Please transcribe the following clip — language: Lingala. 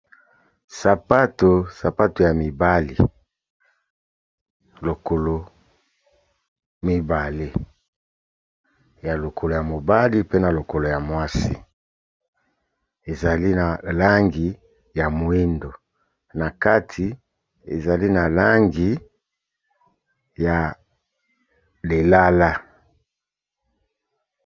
Sapato, sapato ya mibali. Lokolo mibale, ya lokolo ya mobali pe na lokolo ya mwasi. Ezali na langi ya moyindo, na kati ezali na langi ya lilala.